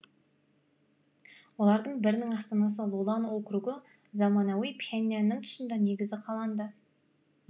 олардың бірінің астанасы лолан округі заманауи пхеньянның тұсында негізі қаланды